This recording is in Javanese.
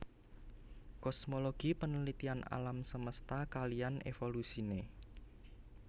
Kosmologi penelitian alam semesta kaliyan evolusine